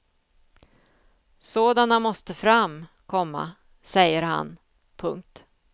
Sådana måste fram, komma säger han. punkt